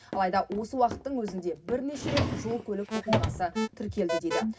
алайда осы уақыттың өзінде бірнеше рет жол көлік оқиғасы тіркелді дейді